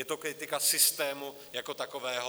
Je to kritika systému jako takového.